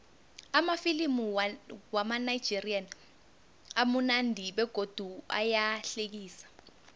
amafilimu wamanigerian amunandi begodu ayahlekisa